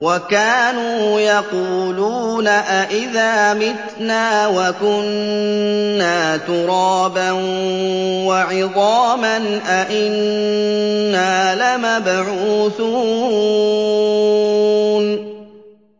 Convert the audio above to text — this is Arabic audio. وَكَانُوا يَقُولُونَ أَئِذَا مِتْنَا وَكُنَّا تُرَابًا وَعِظَامًا أَإِنَّا لَمَبْعُوثُونَ